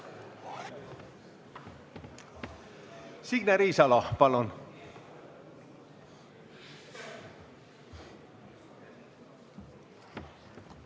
Signe Riisalo, palun!